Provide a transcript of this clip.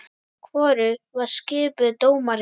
Hvorug var skipuð dómari.